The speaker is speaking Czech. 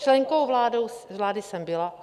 Členkou vlády jsem byla.